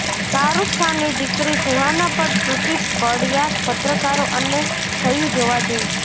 શાહરૂખ ખાનની દીકરી સુહાના પર તૂટી પડ્યા પત્રકારો અને થયુ જોવા જેવું